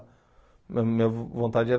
Mas minha vontade era